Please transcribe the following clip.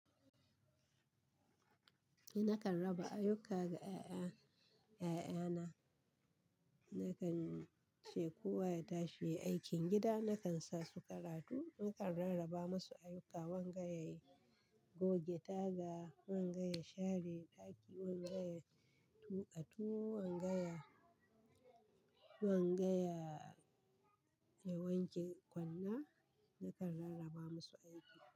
Eh, nakan raba ayyuka ga 'ya'ya, 'ya'yana. Nakan ce kowa ya tashi ya yi aikin gida. Nakan sa su karatu, nakan rarraba masu ayyuka. Wanga ya yi goge taga, wanga ya share daki, wanga ya tuƙa tuwo, wanga ya, wanga ya wanke kwanna. Nakan rarraba masu aiki.